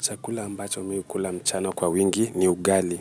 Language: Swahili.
Chakula ambacho mimi ukula mchana kwa wingi ni ugali.